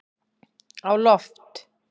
á loft